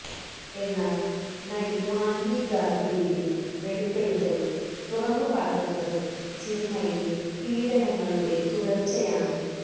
എന്നാൽ നടി മാൻവി ഗാഗ്രൂവിന്റെ വെളിപ്പെടുത്തൽ തുറന്നു കാട്ടുന്നത് സിനിമയിലെ പീഡനങ്ങളുടെ തുടർച്ചയാണ്